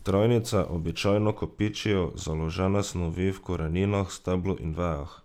Trajnice običajno kopičijo založne snovi v koreninah, steblu ali vejah.